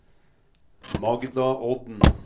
Magda Odden